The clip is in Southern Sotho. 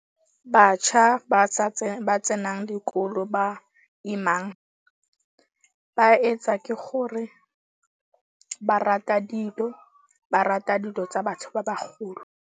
Batjha ba ba tsenang dikolo ba imang. Ba etsa ke gore ba rata dilo. Ba rata dilo tsa batho ba bagolo.